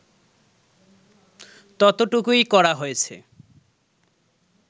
ততটুকুই করা হয়েছে